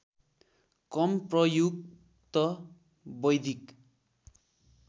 कम प्रयुक्त वैदिक